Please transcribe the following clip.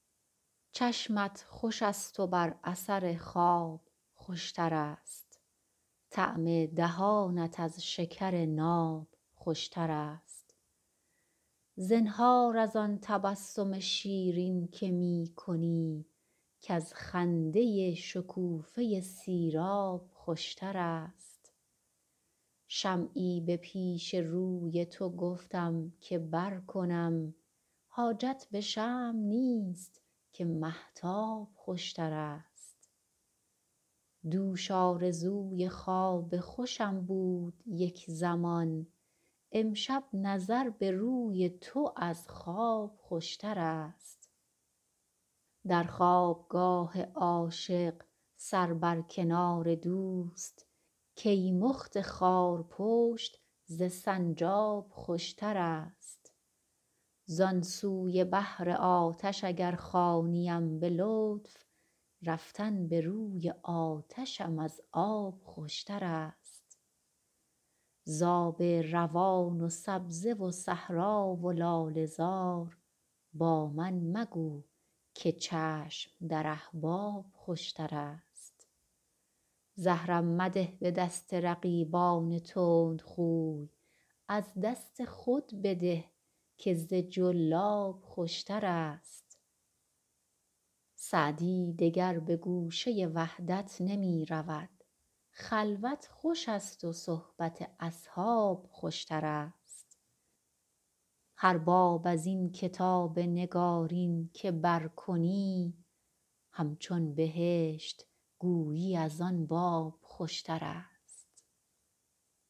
چشمت خوش است و بر اثر خواب خوش تر است طعم دهانت از شکر ناب خوش تر است زنهار از آن تبسم شیرین که می کنی کز خنده شکوفه سیراب خوش تر است شمعی به پیش روی تو گفتم که برکنم حاجت به شمع نیست که مهتاب خوش تر است دوش آرزوی خواب خوشم بود یک زمان امشب نظر به روی تو از خواب خوش تر است در خواب گاه عاشق سر بر کنار دوست کیمخت خارپشت ز سنجاب خوش تر است زان سوی بحر آتش اگر خوانیم به لطف رفتن به روی آتشم از آب خوش تر است ز آب روان و سبزه و صحرا و لاله زار با من مگو که چشم در احباب خوش تر است زهرم مده به دست رقیبان تندخوی از دست خود بده که ز جلاب خوش تر است سعدی دگر به گوشه وحدت نمی رود خلوت خوش است و صحبت اصحاب خوش تر است هر باب از این کتاب نگارین که برکنی همچون بهشت گویی از آن باب خوشترست